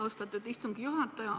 Austatud istungi juhataja!